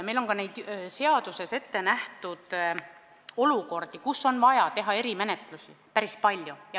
Meil on ka seaduses ettenähtud olukordi, kus on vaja erimenetlust, päris palju.